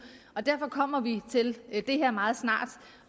og derfor kommer vi til det her meget snart